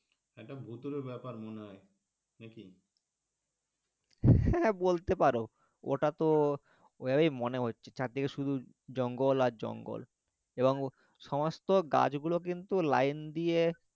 হ্যাঁ হ্যাঁ বলতে পারো ওটাতো ওভাবেই মনে হচ্ছে চারিদিকে শুধু জঙ্গল আর জঙ্গল এবং সমস্ত গাছগুলো কিন্তু line দিয়ে